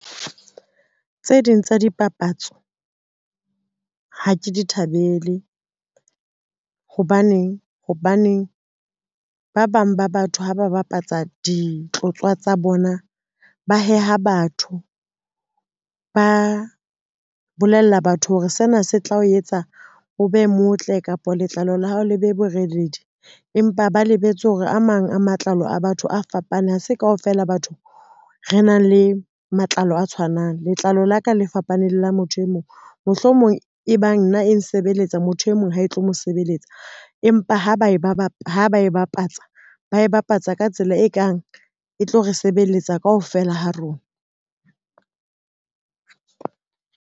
Tse ding tsa dipapatso, ha ke di thabele. Hobaneng, hobaneng ba bang ba batho ha ba bapatsa ditlotswa tsa bona, ba heha batho ba bolella batho hore sena se tla o etsa o be motle kapa letlalo la hao le be boreledi, empa ba lebetse hore a mang a matlalo a batho a fapane, ha se kaofela batho re nang le matlalo a tshwanang. Letlalo la ka le fapaneng la motho e mong, mohlomong e bang nna e nsebeletsa motho e mong ha e tlo mo sebeletsa, empa ha ba e bapatsa, ba e bapatsa ka tsela e kang e tlo re sebeletsa kaofela ha rona.